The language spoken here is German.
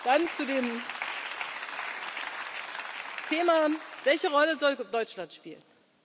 Dann zu dem Thema Welche Rolle sollte Deutschland spielen?